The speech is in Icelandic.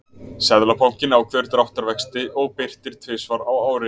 Seðlabankinn ákveður dráttarvexti og birtir tvisvar á ári.